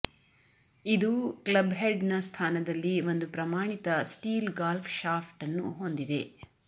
ಇದು ಕ್ಲಬ್ಹೆಡ್ನ ಸ್ಥಾನದಲ್ಲಿ ಒಂದು ಪ್ರಮಾಣಿತ ಸ್ಟೀಲ್ ಗಾಲ್ಫ್ ಶಾಫ್ಟ್ ಅನ್ನು ಹೊಂದಿದೆ